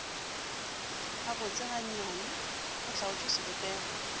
gabotse gannyane go hlaotšwe sebopego